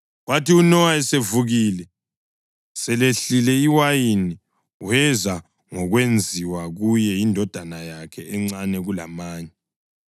Kwathi uNowa esevukile selehlile iwayini wezwa ngokwakwenziwe kuye yindodana yakhe encane kulamanye,